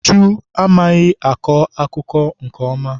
Uju amaghị akọ akụkọ ifo nke ọma.